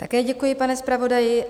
Také děkuji, pane zpravodaji.